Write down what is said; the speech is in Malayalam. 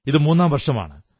ഇത് മൂന്നാം വർഷമാണ്